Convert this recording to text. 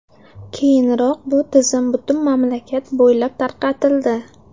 Keyinroq bu tizim butun mamlakat bo‘ylab tarqatildi.